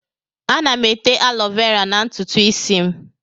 Ana m ete alọvera na ntutu ísí m.